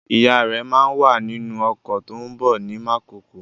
Ìyá rẹ̀ máa wà nínú ọkọ̀ tó ń bọ̀ ní Mákokó.